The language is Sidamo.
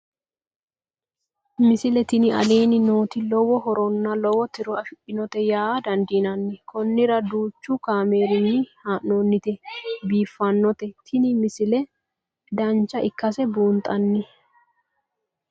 misile tini aleenni nooti lowo horonna lowo tiro afidhinote yaa dandiinanni konnira danchu kaameerinni haa'noonnite biiffannote tini misile dancha ikkase buunxanni